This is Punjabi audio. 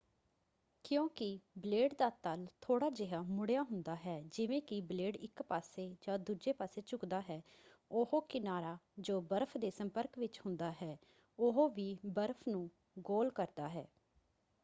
ਕਿਉਂਕਿ ਬਲੇਡ ਦਾ ਤਲ ਥੋੜ੍ਹਾ ਜਿਹਾ ਮੁੜਿਆ ਹੁੰਦਾ ਹੈ ਜਿਵੇਂ ਕਿ ਬਲੇਡ ਇੱਕ ਪਾਸੇ ਜਾਂ ਦੂਜੇ ਪਾਸੇ ਝੁਕਦਾ ਹੈ ਉਹ ਕਿਨਾਰਾ ਜੋ ਬਰਫ਼਼ ਦੇ ਸੰਪਰਕ ਵਿੱਚ ਹੁੰਦਾ ਹੈ ਉਹ ਵੀ ਬਰਫ਼ ਨੂੰ ਗੋਲ ਕਰਦਾ ਹੈ।